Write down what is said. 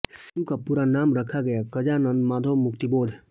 शिशु का पूरा नाम रखा गया गजानन माधव मुक्तिबोध